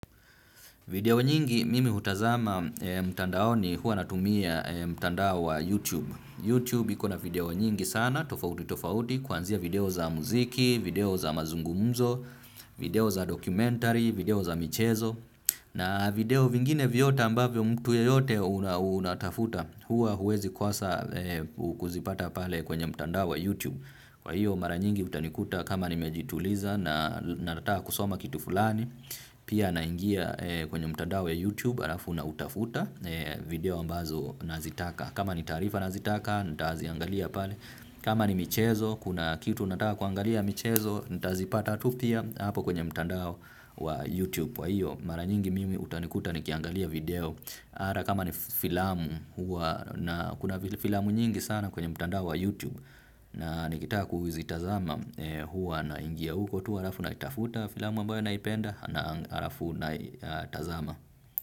Video nyingi mimi hutazama mtandao ni hua natumia mtandao wa YouTube. YouTube ikona video nyingi sana, tofauti tofauti, kwanzia video za muziki, video za mazungumzo, video za dokumentari, video za michezo. Na video vingine viyota ambavyo mtu ya yote unatafuta, hua huwezi kosa kuzipata pale kwenye mtandao wa YouTube. Kwa hiyo mara nyingi utanikuta kama nimejituliza na nataa kusoma kitu fulani, pia naingia kwenye mtandao ya YouTube. Alafu na utafuta video ambazo nazitaka. Kama ni tarifa nazitaka, nitaaziangalia pale. Kama ni michezo, kuna kitu nataka kuangalia michezo. Nitaazipata tupia hapo kwenye mtandao wa YouTube kwaiyo, mara nyingi mimi utanikuta nikiangalia video ara kama ni filamu, kuna filamu nyingi sana kwenye mtandao wa YouTube. Na nikitaa kuwizitazama hua naingia uko tu harafu na itafuta filamu ambayo naipenda na harafu na itazama.